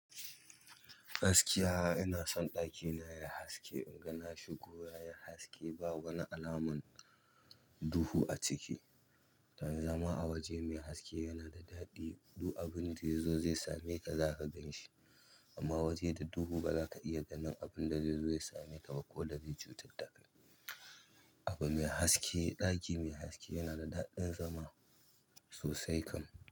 Gaskiya, ina son ɗakina yai haske in ga nashigo yayi haske ba wani alaman duhu a ciki. Dan zama a waje mai haske yana da daɗi. Duk abin da ya zo zai sa me ka zaka ganshi. Amma waje da duhu ba za ka iya ganin abun da zai zo ya same ka ba ko da zai cutar da kai. Abu mai haske, ɗaki mai haske yana da daɗin zama sosai kam.